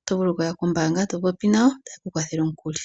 oto vuu okuya kombaanga to popi nayo taye ku kwathele omukuli.